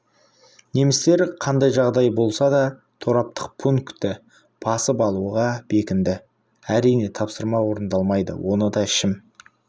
немістер қандай жағдай болса да тораптық пунктті басып алуға бекінді әрине тапсырма орындалмайды оны да ішім